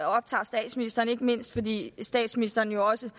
optager statsministeren ikke mindst fordi statsministeren jo også